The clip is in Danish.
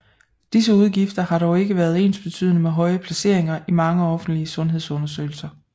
Disse udgifter har dog ikke været ensbetydende med høje placeringer i mange offentlige sundhedsundersøgelser